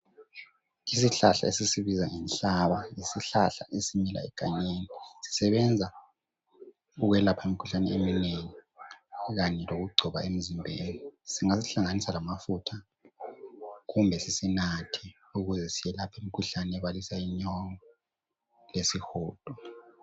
Isihlahla esisibiza ngenhlaba. Yisihlahla esimila egangeni. Sisebenza ukwelapha imukhuhlane eminengi. Kanye lokugcoba emzimbeni. Singasihlanganisa lamafutha, kumbe sisinathe. Ukuze selaphe imikhuhlane ebalisa inyongo lesihudo.